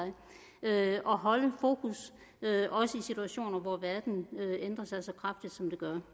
og holde fokus også i situationer hvor verden ændrer sig så meget som den gør